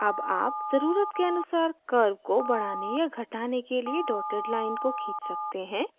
अब आप ज़रुरत के अनुसार curve को बढ़ाने या घटाने के लिए dotted line को खींच सकते हैं